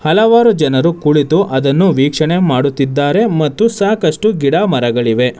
ಹಲವಾರು ಜನರು ಕುಳಿತು ಅದನ್ನು ವೀಕ್ಷಣೆ ಮಾಡುತ್ತಿದ್ದಾರೆ ಮತ್ತು ಸಾಕಷ್ಟು ಗಿಡ ಮರಗಳಿವೆ.